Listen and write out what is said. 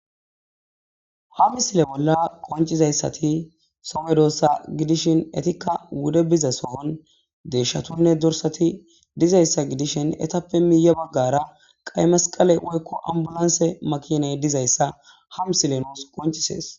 ham sile bolla qoncizayssati sope doossa gidishin etikka wude biza sohon deeshshatunne dorsati dizayssa gidishin etappe miiya baggara qay masqale oykko ambulanse makiney dizayssa ham silenoos qoncisees